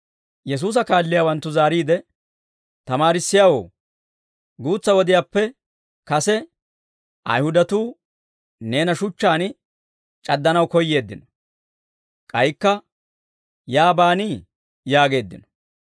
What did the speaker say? Yesuusa kaalliyaawanttu zaariide, «Tamaarissiyaawoo, guutsa wodiyaappe kase Ayihudatuu neena shuchchaan c'addanaw koyyeeddino; k'aykka yaa baanii?» yaageeddino.